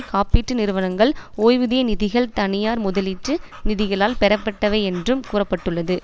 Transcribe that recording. காப்பீட்டு நிறுவனங்கள் ஓய்வுதிய நிதிகள் தனியார் முதலீட்டு நிதிகளால் பெறப்பட்டவை என்றும் கூற பட்டுள்ளது